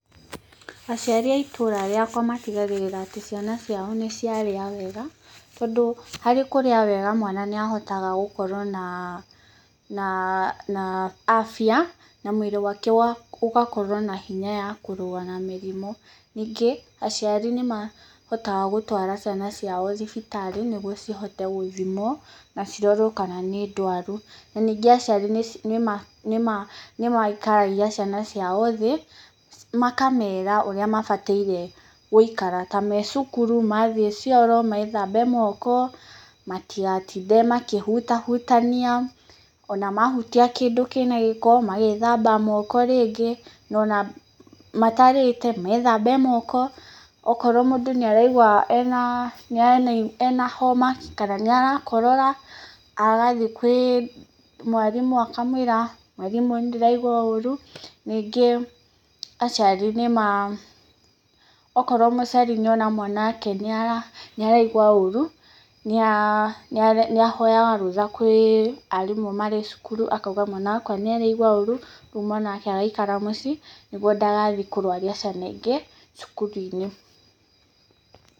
Aciari a itũũra rĩakwa matigagĩrĩra atĩ ciana ciao nĩ ciarĩa wega, tondũ harĩ kũrĩa wega mwana nĩ ahotaga gũkorwo na afya na mwĩrĩ wake ũgakorwo na hinya wa kũrũa na mĩrimũ, ningĩ aciari nĩ mahotaga gũtũara ciana ciao thibitarĩ nĩgũo cihote gũthimwo na cirorwo kana nĩ ndwaru, na ningĩ aciari nĩ maikaragia ciana ciao thĩ makamera ũrĩa mabatairie gũikara ta me cukuru, mathiĩ cioro methambe moko, matigatinde makihuta hutania ona mahutia kĩndũ kĩna gĩkomagethamba moko rĩngĩ, ona matarĩte methambe moko okorwo mũndũ nokorwo mũndũ nĩ araigua ena homa kana nĩ arakorora agathiĩ kwĩ mwarimũ akamũĩra, mwarimũ nĩ ndĩra igua ũru, ningĩ aciari, okorwo mũciari nĩ ona mwana wake nĩ araigua ũru nĩ ahoyaga rũtha kwĩ arimũ marĩ cukuru akauga mwana wakwa nĩ araigua ũru rĩu mwana wake agaikara mũciĩ nĩgũo ndagathiĩ kũrũaria ciana ingĩ cukuru-inĩ.